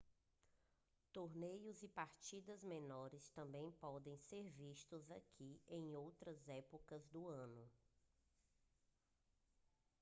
torneios e partidas menores também podem ser vistos aqui em outras épocas do ano